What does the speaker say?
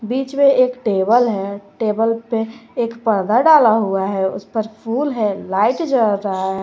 बीच में एक टेबल है टेबल पे एक पर्दा डाला हुआ है उस पर फूल है लाइट जल रहा है।